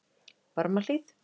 Barmahlíð